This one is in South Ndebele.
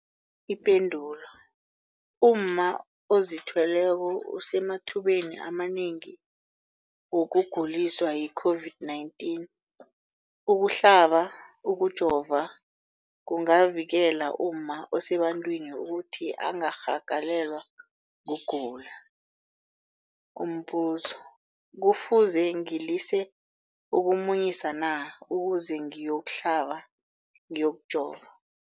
Ipendulo, umma ozithweleko usemathubeni amanengi wokuguliswa yi-COVID-19. Ukuhlaba, ukujova kungavikela umma osebantwini ukuthi angarhagalelwa kugula. Umbuzo, kufuze ngilise ukumunyisa na ukuze ngiyokuhlaba, ngiyokujova?